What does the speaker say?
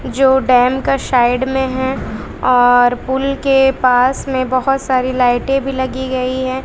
जो डैम का साइड में हैं और पुल के पास में बहोत सारी लाइटे भी लगी गई हैं।